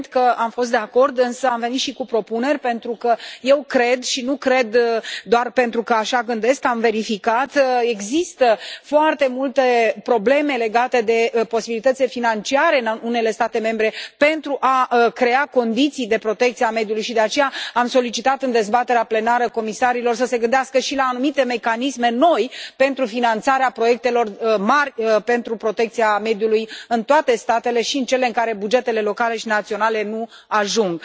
Evident că am fost de acord, însă am venit și cu propuneri pentru că eu cred și nu cred doar pentru că așa gândesc, am verificat. Există foarte multe probleme legate de posibilitățile financiare în unele state membre pentru a crea condiții de protecție a mediului și de aceea am solicitat în dezbaterea plenară comisarilor să se gândească și la anumite mecanisme noi pentru finanțarea proiectelor mari pentru protecția mediului în toate statele și în cele în care bugetele locale și naționale nu ajung.